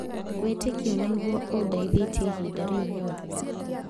Wĩtĩkio nĩguo ũndithĩtie ihinda rĩu rĩothe.